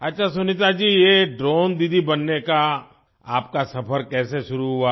अच्छा सुनीता जी ये ड्रोन दीदी बनने का आपका सफ़र कैसे शुरू हुआ